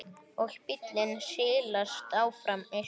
Og bíllinn silast áfram austur.